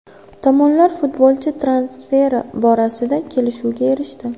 Tomonlar futbolchi transferi borasida kelishuvga erishdi.